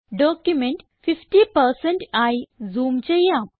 document 50 ആയി zoom ചെയ്യാം